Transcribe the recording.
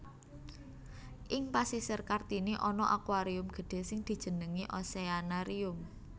Ing Pasisir Kartini ana aquarium gedhé sing dijenengi Oceanarium